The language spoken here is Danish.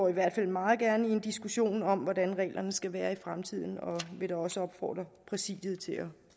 i hvert fald meget gerne indgår i en diskussion om hvordan reglerne skal være i fremtiden og vil da også opfordre præsidiet til at